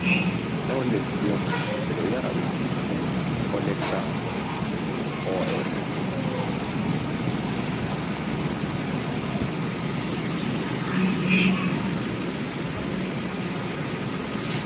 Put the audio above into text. Ɗow lekki on ɓe ɗo yara ɗum ɗo lecca ɓoe.